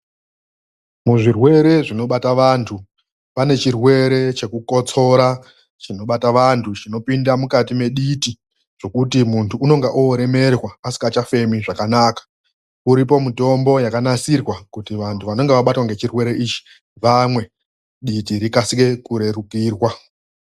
Muzvirwere zvinobata vandu pane chirwere chekukotsora chinobata vandu chinopinda muditi chekuti mundu unenge oremerwa usingachafemi zvakanaka uripo mutombo wakanasirwa kuti vandu vanenge vabatwa ngechirwere ichi vamwe kuti diti rikasire kurerukirwa.